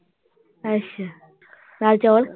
ਅੱਛਾ ਦਾਲ ਚੌਲ।